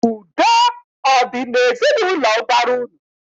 Udo ọ dị n'ezinaụlọ ụbara unu?